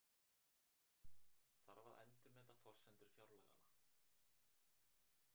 Þarf að endurmeta forsendur fjárlaganna